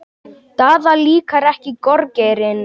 Daða líkar ekki gorgeirinn.